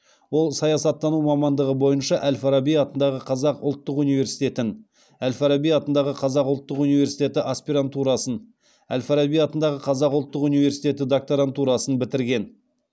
ол саясаттану мамандығы бойынша әл фараби атындағы қазақ ұлттық университетін әл фараби атындағы қазақ ұлттық университеті аспирантурасын әл фараби атындағы қазақ ұлттық университеті докторантурасын бітірген